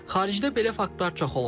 Xaricdə belə faktlar çox olub.